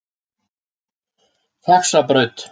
Faxabraut